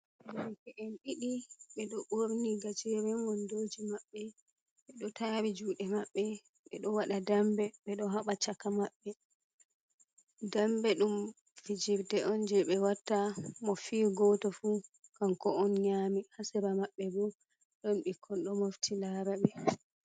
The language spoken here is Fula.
"Derke'en" ɗiɗi ɓeɗo ɓorni gajeren wondoji maɓɓe ɓe ɗo tari juɗe maɓɓe ɓe ɗo waɗa dambe ɓeɗo haɓa chaka maɓɓe dambe ɗum fijirde on je ɓe watta mo fi goto fu kanko on nyami haa sera maɓɓe bo ɗon ɓikkon ɗo mofti lara ɓe.